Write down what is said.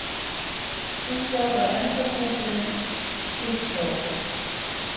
Hins vegar var endaspretturinn finn hjá okkur